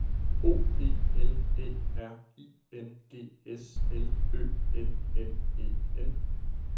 O P L Æ R I N G S L Ø N N E N